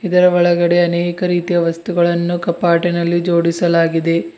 ಇದರ ಒಳಗಡೆ ಅನೇಕ ರೀತಿಯ ವಸ್ತುಗಳನ್ನು ಕಪಾಟಿನಲ್ಲಿ ಜೋಡಿಸಲಾಗಿದೆ.